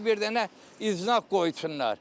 Bura bir dənə iznah qoysunlar.